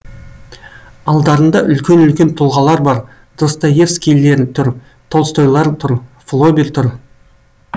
алдарында үлкен үлкен тұлғалар бар достоевскийлер тұр толстойлар тұр флобер тұр